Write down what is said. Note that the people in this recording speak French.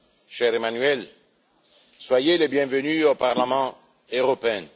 cher Emmanuel, soyez le bienvenu au Parlement européen.